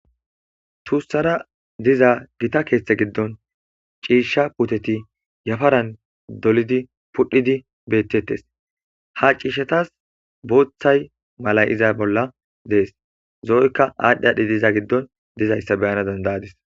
tuussara diza gita keeththe giddon ciishsha puteti yafaran dolidi pudhidi bettettes ha ciishatas booththay mala iza bolla dees zo7oykka aadhdhi adhi diza giddon dizayssa beyana dandayadis